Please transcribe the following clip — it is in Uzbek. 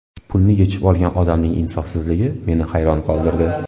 Pulni yechib olgan odamning insofsizligi meni hayron qoldirdi.